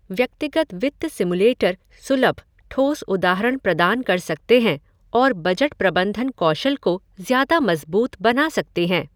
व्यक्तिगत वित्त सिमुलेटर सुलभ, ठोस उदाहरण प्रदान कर सकते हैं और बजट प्रबंधन कौशल को ज़्यादा मज़बूत बना सकते हैं।